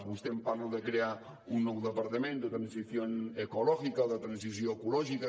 vostè em parla de crear un nou departament de transición ecológica o de transició ecològica